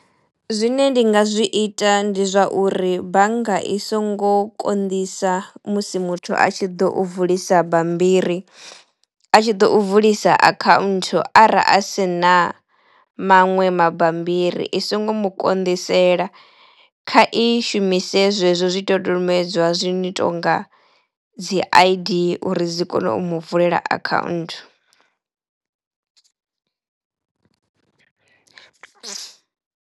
Zwine ndi nga zwi ita ndi zwa uri bannga i songo konḓisa musi muthu a tshi ḓo u vulisa bambiri. A tshi ḓo u vulisa account ara a si na maṅwe mabambiri i songo mu konḓisela, kha i shumise zwezwo zwidodombedzwa zwi no tonga dzi I_D uri dzi kono u mu vulela account.